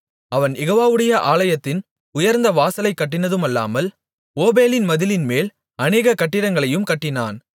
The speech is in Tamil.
அவன் யெகோவாவுடைய ஆலயத்தின் உயர்ந்த வாசலைக் கட்டினதுமல்லாமல் ஓபேலின் மதிலின்மேல் அநேக கட்டிடங்களையும் கட்டினான்